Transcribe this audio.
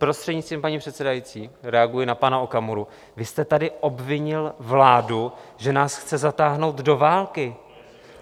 Prostřednictvím paní předsedající, reaguji na pana Okamuru, vy jste tady obvinil vládu, že nás chce zatáhnout do války.